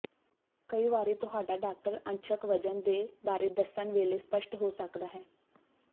ਕਈ ਵਾਰੀ ਤੁਹਾਡਾ ਡਾਕਟਰ ਅੰਸ਼ਕ ਵਜਨ ਦੇ ਬਾਰੇ ਦੱਸਣ ਵੇਲੇ ਸਪਸ਼ਟ ਹੋ ਸਕਦਾ ਹੈ